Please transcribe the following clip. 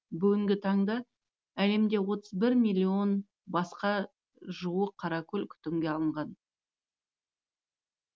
бүгінгі таңда әлемде отыз бір миллион басқа жуық қаракөл күтімге алынған